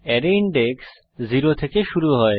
arrays index 0 থেকে শুরু হয়